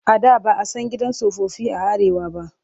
A da ba a san gidan tsofaffi a Arewa ba.